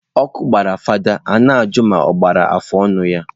Ọkụ gbara fada, i na ajụ ma ọ gbara afọ ọnụ ya.